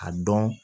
A dɔn